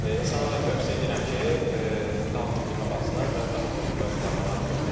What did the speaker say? İnsanlara da tövsiyə eləyirəm ki, daha çox filmə baxsınlar və daha çox mövzulara maraq göstərsinlər.